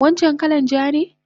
Wancan kalan ja ne?